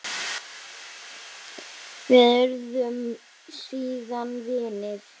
Við urðum síðan vinir.